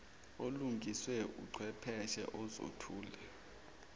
olungiswe uchwepheshe uzothulwa